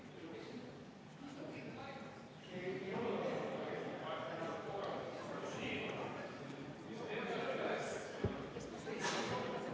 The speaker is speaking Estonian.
V a h e a e g